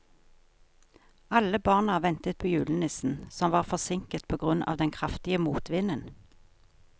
Alle barna ventet på julenissen, som var forsinket på grunn av den kraftige motvinden.